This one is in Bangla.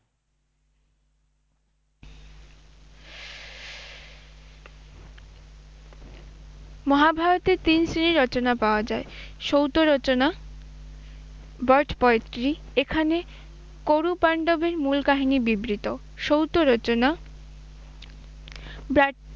মহাভারতে তিন শ্রেণীর রচনা পাওয়া যায়। সৌত রচনা bird poetry এখানে করুপাণ্ডবের মূল কাহিনী বিবৃত। সৌত রচনা